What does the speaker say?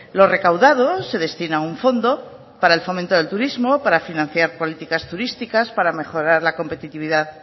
lo recaudado se destina a un fondo para el fomento del turismo para financiar políticas turísticas para mejorar la competitividad